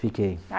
Fiquei.